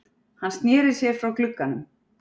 Hann sneri sér frá glugganum.